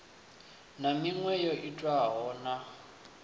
na miṅwe yo itwaho na